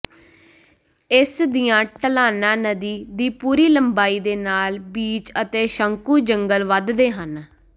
ਇਸ ਦੀਆਂ ਢਲਾਨਾਂ ਨਦੀ ਦੀ ਪੂਰੀ ਲੰਬਾਈ ਦੇ ਨਾਲ ਬੀਚ ਅਤੇ ਸ਼ੰਕੂ ਜੰਗਲ ਵਧਦੇ ਹਨ